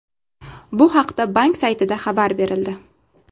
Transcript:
Bu haqda bank saytida xabar berildi .